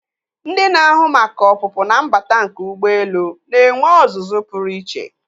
Ndị na-ahụ maka ọpụpụ na mbata nke ụgbọelu na-enwe ọzụzụ pụrụ iche.